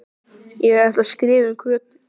Ég ætla að skrifa um Kötu